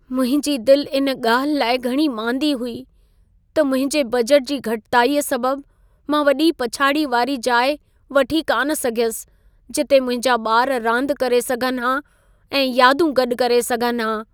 मुंहिंजी दिलि इन ॻाल्हि लाइ घणी मांदी हुई त मुंहिंजे बजट जी घटिताई सबबु मां वॾी पछाड़ी वारी जाइ वठी कान सघयुसि जिथे मुंहिंजा ॿार रांदि करे सघनि हा ऐं यादूं गॾु करे सघनि हा।